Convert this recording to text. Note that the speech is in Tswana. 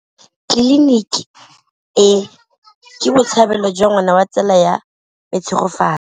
Tleliniki e, ke botsalêlô jwa ngwana wa tsala ya me Tshegofatso.